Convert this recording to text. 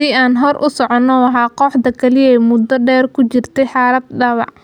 "Haddii aan hore u socono, waa kooxda kaliya ee muddo dheer ku jirtay xaalad dhaawac."